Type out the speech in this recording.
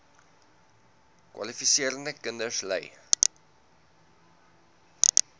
kwalifiserende kinders ly